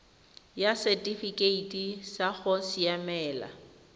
ya setifikeite sa go siamela